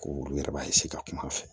Ko olu yɛrɛ b'a ka kuma a fɛ